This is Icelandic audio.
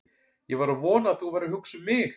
Ég var að vona að þú værir að hugsa um mig!